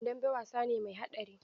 Dambe wasa ne mai haɗari.